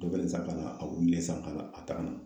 a wulilen san k'a ta ka na